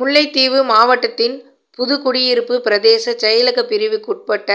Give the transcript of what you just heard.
முல்லைத்தீவு மாவட்டத்தின் புதுக்குடியிருப்பு பிரதேச செயலக பிரிவுக்குட்ப்பட்ட